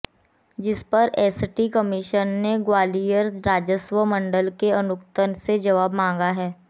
जिस पर ST commission ने ग्वालियर राजस्व मंडल के आयुक्त से जबाव मांगा है